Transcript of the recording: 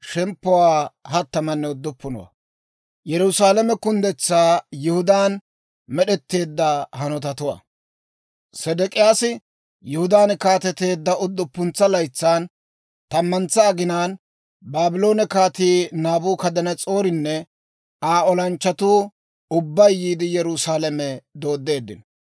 Sedek'iyaasi Yihudaan kaateteedda udduppuntsa laytsan, tammantsa aginaan, Baabloone Kaatii Naabukadanas'oorinne Aa olanchchatuu ubbay yiide, Yerusaalame dooddeeddino.